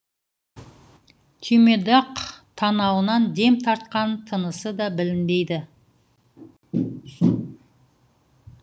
түймедақ танауынан дем тартқан тынысы да білінбейді